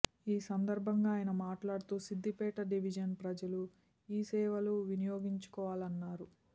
ఈసందర్భంగా ఆయన మాట్లాడుతూ సిద్దిపేట డివిజన్ ప్రజలు ఈసేవ లు వినియోగించుకోవాలన్నారు